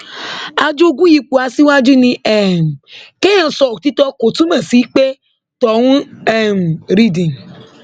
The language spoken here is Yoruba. ajogún ipò aṣáájú ni um kéèyàn sọ òtítọ kò túmọ sí pé tọhún um rìndìn